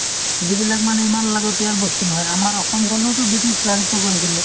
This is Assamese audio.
যিবিলাক মানে ইমান লাগতীয়াল বস্তু নহয় । আমাৰ অসমখনো টো ব্ৰিটিছ ৰাজত্ব কৰিছিলে ।